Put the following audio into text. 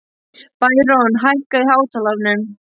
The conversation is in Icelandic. Bæron, hækkaðu í hátalaranum.